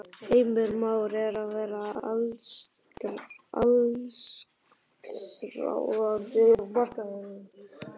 Heimir: Már er að verða allsráðandi á markaðnum?